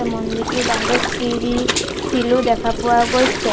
মন্দিৰটোৰ বাহিৰত চিৰি শিলো দেখা পোৱা গৈছে।